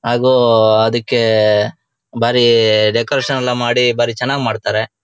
ಹಾಗೂ ಅದಿಕ್ಕೆ ಬಾರಿ ಡೆಕೋರೇಸನ್ ಎಲ್ಲ ಬಾರಿ ಚೆನ್ನಾಗ್ ಮಾಡ್ತಾರೆ.